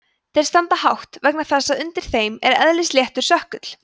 þeir standa hátt vegna þess að undir þeim er eðlisléttur sökkull